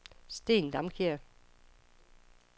Steen Damkjær